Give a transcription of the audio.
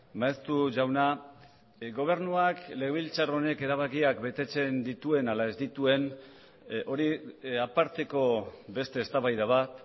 maeztu jauna gobernuak legebiltzar honek erabakiak betetzen dituen ala ez dituen hori aparteko beste eztabaida bat